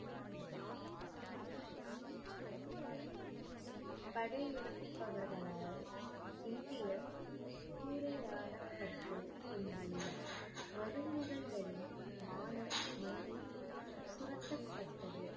படையெடுப்பவர்களால் இந்திய சூரையாடப்பட்டு இங்குள்ள மருமகள்களின் மானம் மண்ணில் சுருட்டப்பட்டது